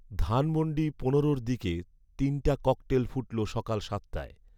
ধানমন্ডী পনেরোর দিকে তিনটা ককটেল ফুটলো সকাল সাতটায়